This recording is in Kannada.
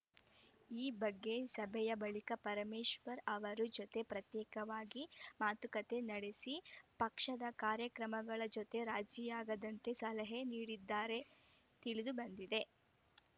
ಈ ಬಗ್ಗೆ ಸಭೆಯ ಬಳಿಕ ಪರಮೇಶ್ವರ್‌ ಅವರು ಜೊತೆ ಪ್ರತ್ಯೇಕವಾಗಿ ಮಾತುಕತೆ ನಡೆಸಿ ಪಕ್ಷದ ಕಾರ್ಯಕ್ರಮಗಳ ಜೊತೆ ರಾಜಿಯಾಗದಂತೆ ಸಲಹೆ ನೀಡಿದ್ದಾರೆಂದು ತಿಳಿದು ಬಂದಿದೆ